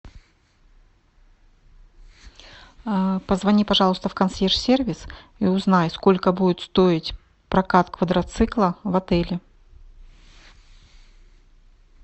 позвони пожалуйста в консьерж сервис и узнай сколько будет стоить прокат квадроцикла в отеле